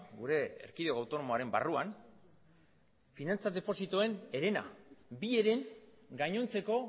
gure erkidego autonomoaren barruan finantza depozitoen herena bi heren gainontzeko